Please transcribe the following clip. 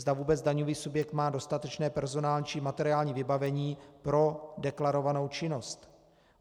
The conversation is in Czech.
Zda vůbec daňový subjekt má dostatečné personální či materiální vybavení pro deklarovanou činnost.